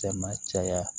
Cɛ ma caya